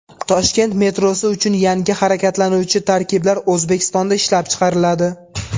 Toshkent metrosi uchun yangi harakatlanuvchi tarkiblar O‘zbekistonda ishlab chiqariladi.